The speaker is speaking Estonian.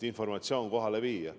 Informatsioon on vaja kohale viia.